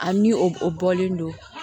A ni o bɔlen don